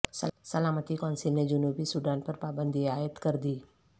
سلامتی کونسل نے جنوبی سوڈان پر پابندی عائد کر دی